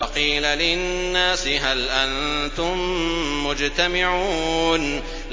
وَقِيلَ لِلنَّاسِ هَلْ أَنتُم مُّجْتَمِعُونَ